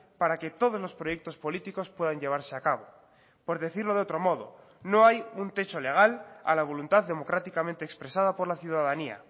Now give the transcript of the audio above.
para que todos los proyectos políticos puedan llevarse a cabo por decirlo de otro modo no hay un techo legal a la voluntad democráticamente expresada por la ciudadanía